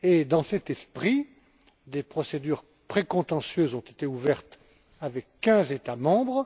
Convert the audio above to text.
Dans cet esprit, des procédures précontentieuses ont été ouvertes contre quinze États membres.